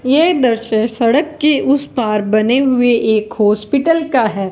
ये दृश्य सड़क के उस पार बने हुए एक हॉस्पिटल का है।